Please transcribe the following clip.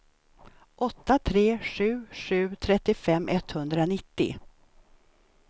åtta tre sju sju trettiofem etthundranittio